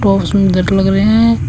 ओ सुंदर लग रहे हैं।